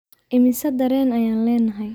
Immisa dareen ayaan leenahay?